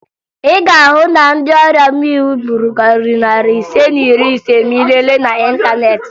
Ị ga-ahụ na ndị ọrịa mmịnwụ gburu karịrị narị ise na iri ise ma ị lelee n'ịntaneetị